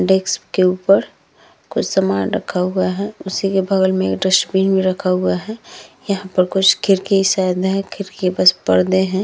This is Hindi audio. डेस्क के उपर कुछ सामान रखा हुवा है। उसी के बगल में एक डस्टबिन भी रखा हुवा है। यहाँ पर कुछ खिड़की शायद है। खिड़की के पास परदे हैं।